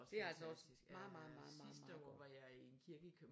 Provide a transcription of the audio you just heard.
Det er altså også meget meget meget meget meget godt